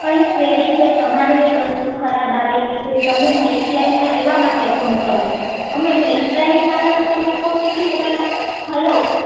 hello કઈ query છે તમારી વસ્તુ ખરાબ આવેલી છે તમે હેલ્પલાઇનમાં એની માટે કોલ કરો છો અમે હેલ્પલાઇનવાળા તો તમને ફોન નથી કરવાના